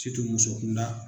musokunda.